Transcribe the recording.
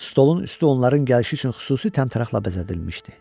Stolun üstü onların gəlişi üçün xüsusi təmtəraqla bəzədilmişdi.